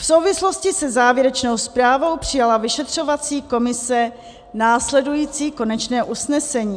V souvislosti se závěrečnou zprávou přijala vyšetřovací komise následující konečné usnesení: